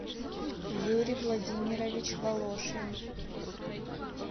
юрий владимирович волошин